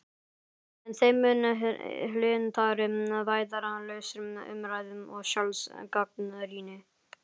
En þeim mun hlynntari vægðarlausri umræðu og sjálfsgagnrýni.